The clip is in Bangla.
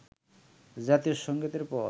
জাতীয় সংগীতের পর